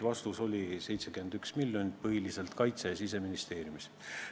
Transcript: Vastus oli 71 miljonit, põhiliselt Kaitseministeeriumis ja Siseminiseeriumis.